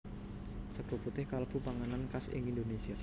Sega putih kalebu panganan khas ing Indonesia